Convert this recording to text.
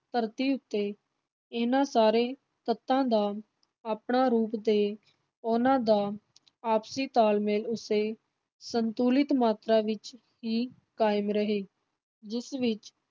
ਧਰਤੀ ਉੱਤੇ ਇਨ੍ਹਾਂ ਸਾਰੇ ਤੱਤਾਂ ਦਾ ਆਪਣਾ ਰੂਪ ਤੇ ਉਨ੍ਹਾਂ ਦਾ ਆਪਸੀ ਤਾਲ-ਮੇਲ ਉਸੇ ਸੰਤੁਲਿਤ ਮਾਤਰਾ ਵਿੱਚ ਹੀ ਕਾਇਮ ਰਹੇ, ਜਿਸ ਵਿਚ